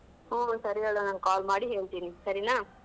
ಹ್ಮ್ ಸರಿ ಹೇಳ್ ನಾನ್ call ಮಾಡಿ ಹೇಳ್ತಿನಿ ಸರಿನಾ.